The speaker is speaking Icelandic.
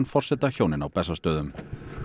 forsetahjónin á Bessastöðum